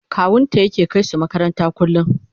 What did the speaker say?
kawunta yake kaisu makaranta kullum